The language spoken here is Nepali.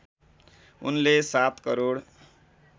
उनले ७ करोड